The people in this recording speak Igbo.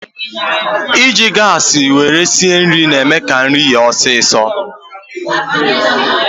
Iji gaasi esi nri na-eme ka nri yee ọsịsọ.